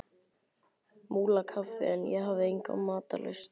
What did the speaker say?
Múlakaffi en ég hafði enga matarlyst.